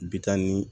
Bitɔn ni